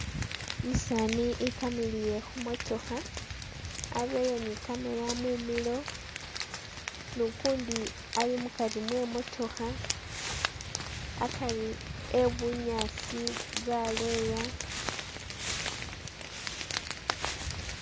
Umusaani i'kamiliye khumotookha areye ni camera mumilo nukundi ali mukari mwe motookha akari e'bunyaasi bwa leya